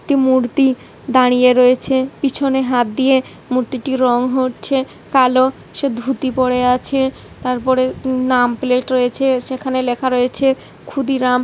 একটি মূর্তি দাঁড়িয়ে রয়েছে পিছনে হাত দিয়ে। মূর্তিটি রং হচ্ছে কালো। সে ধুতি পরে আছে। তারপরে নাম প্লেট রয়েছে সেখানে লেখা রয়েছে ক্ষুদিরাম।